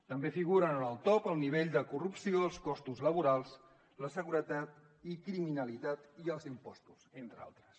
també figuren en el top el nivell de corrupció els costos laborals la seguretat i criminalitat i els impostos entre altres